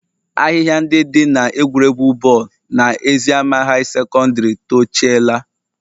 Ahịhịa ndị dị n'egwuregwu bọọlụ na eziama high secondary tochiela